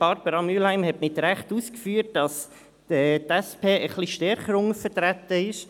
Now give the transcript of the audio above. Barbara Mühlheim hat zu Recht ausgeführt, dass die SP ein bisschen stärker untervertreten ist.